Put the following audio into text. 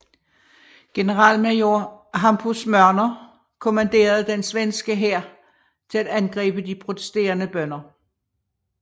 Generalmajor Hampus Mörner kommanderede den svenske hær til at angribe de protesterende bønder